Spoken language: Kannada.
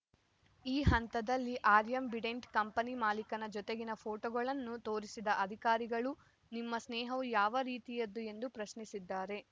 ಈ ಹಂತದಲ್ಲಿ ಆ್ಯಂಬಿಡೆಂಟ್‌ ಕಂಪನಿ ಮಾಲಿಕನ ಜೊತೆಗಿನ ಫೋಟೋಗಳನ್ನು ತೋರಿಸಿದ ಅಧಿಕಾರಿಗಳು ನಿಮ್ಮ ಸ್ನೇಹವು ಯಾವ ರೀತಿಯದ್ದು ಎಂದು ಪ್ರಶ್ನಿಸಿದ್ದಾರೆ